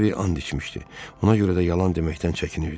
Harvi and içmişdi, ona görə də yalan deməkdən çəkinirdi.